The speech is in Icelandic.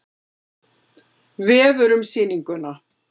Vefur um sýninguna